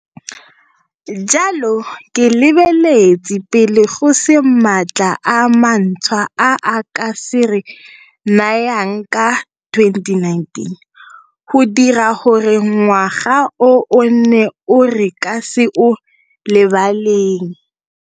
Jalo ke lebeletse pele go se maatla a mantshwa a a ka se re nayang ka 2019 go dira gore ngwaga o o nne o re ka se o lebaleng.